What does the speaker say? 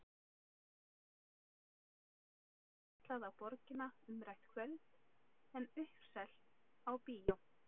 Til dæmis hafði mamma alls ekki ætlað á Borgina umrætt kvöld en uppselt á bíó.